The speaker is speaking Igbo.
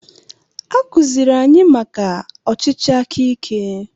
Akuziere anyị maka ọchịchị akaike.